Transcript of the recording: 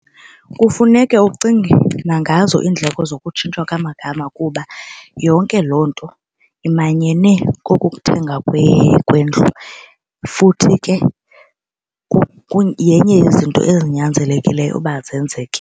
Kufuneka ucinge nangazo iindleko zokutshintsha kwamagama kuba yonke loo nto imanyene kokukuthenga kwendlu futhi ke yenye yezinto ezinyanzelekileyo uba zenzeke.